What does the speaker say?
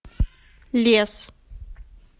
лес